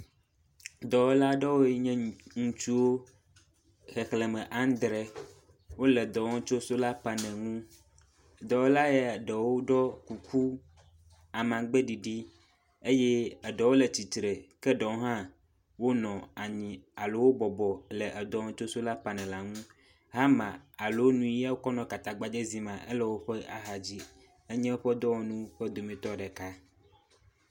Dɔwɔla aɖe yiwo nye ŋutsuwo xexleme adre wole dɔwɔm tso sola panel ŋu, dɔwɔla ya ɖewo ɖo kuku, amagbe ɖiɖi, eye eɖewo le tsitre ke ɖewo hã bɔbɔ nɔ anyi alo bɔbɔ nɔ dɔwɔm tso sola panel ŋu hama alo nuya wokɔ nɔ katagbadze zim ma, elewoƒe axa dzi, enye woƒe dɔwɔnu woƒe dometɔ ɖeka